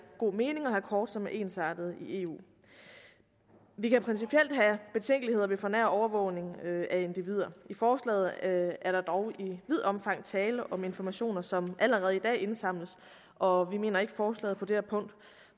god mening at have kort som er ensartede i eu vi kan principielt have betænkeligheder ved for nær overvågning af individer i forslaget er der dog i vidt omfang tale om informationer som allerede i dag indsamles og vi mener ikke at forslaget på det her punkt